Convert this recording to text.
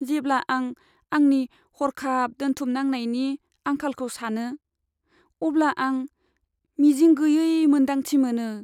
जेब्ला आं आंनि हर्खाब दोनथुमनायनि आंखालखौ सानो, अब्ला आं मिजिं गैयै मोन्दांथि मोनो।